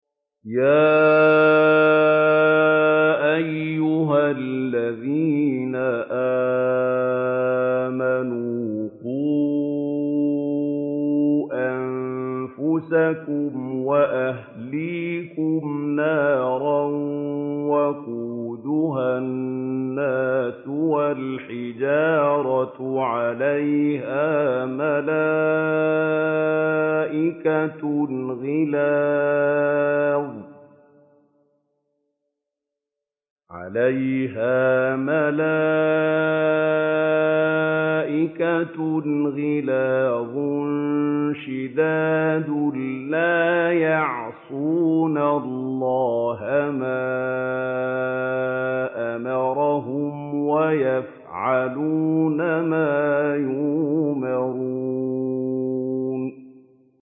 يَا أَيُّهَا الَّذِينَ آمَنُوا قُوا أَنفُسَكُمْ وَأَهْلِيكُمْ نَارًا وَقُودُهَا النَّاسُ وَالْحِجَارَةُ عَلَيْهَا مَلَائِكَةٌ غِلَاظٌ شِدَادٌ لَّا يَعْصُونَ اللَّهَ مَا أَمَرَهُمْ وَيَفْعَلُونَ مَا يُؤْمَرُونَ